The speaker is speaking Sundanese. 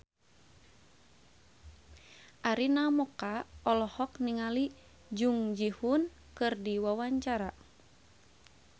Arina Mocca olohok ningali Jung Ji Hoon keur diwawancara